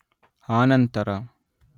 ಆನಂತರ